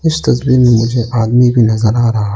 इस तस्वीर में मुझे आदमी भी नजर आ रहा --